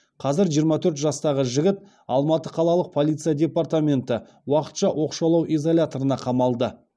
қазір жиырма төрт жастағы жігіт алматы қалалық полиция департаменті уақытша оқшаулау изоляторына қамалды